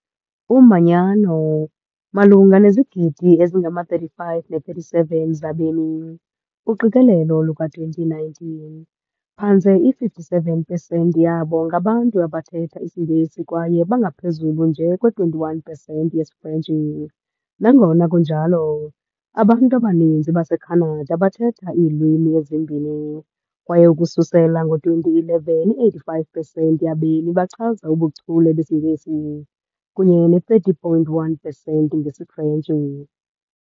Umanyano - malunga nezigidi ezingama-35-37 zabemi, uqikelelo luka-2019, phantse i-57 pesenti yabo ngabantu abathetha isiNgesi kwaye bangaphezulu nje kwe-21 pesenti yesiFrentshi, nangona kunjalo, abantu abaninzi baseKhanada bathetha iilwimi ezimbini, kwaye ukususela ngo-2011, i-85 pesenti yabemi bachaza ubuchule besiNgesi kunye ne-30.1 pesenti ngesiFrentshi.